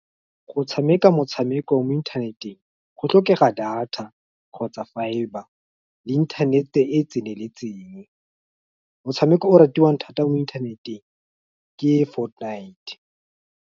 Go tshameka motshameko mo inthaneteng, go tlhokega data, kgotsa fibre, le inthanete e e tseneletseng, motshameko o ratiwang thata mo inthaneteng ke Fortnite.